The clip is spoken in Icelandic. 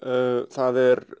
það er